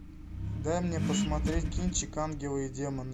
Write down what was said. дай мне посмотреть кинчик ангелы и демоны